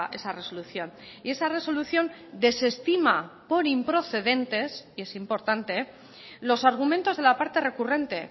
esa resolución y esa resolución desestima por improcedentes y es importante los argumentos de la parte recurrente